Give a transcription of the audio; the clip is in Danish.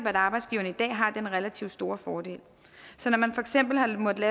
at arbejdsgiverne i dag har den relativt store fordel så når man for eksempel har måttet